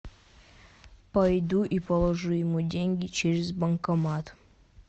пойду и положу ему деньги через банкомат